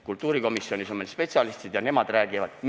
Kultuurikomisjonis on meil spetsialistid ja nemad räägivad.